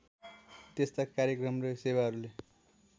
त्यस्ता कार्यक्रम र सेवाहरूले